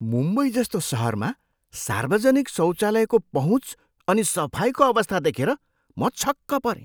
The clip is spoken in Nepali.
मुम्बईजस्तो सहरमा सार्वजनिक शौचालयको पहुँच अनि सफाइको अवस्था देखेर म छक्क परेँ।